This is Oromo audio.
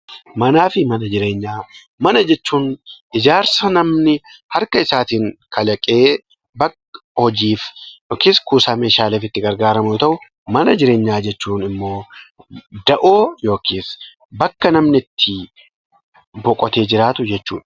Manaafi mana jireenyaa; mana jechuun ijaarsa namni harka isaatiin kalaqee bakka hojiif yookiis kuusaa meeshaaleef itti gargaarramu yoo ta'u, mana jireenyaa jechuunimmoo da'oo yookiin bakka namni itti boqotee jiraatu jechuudha.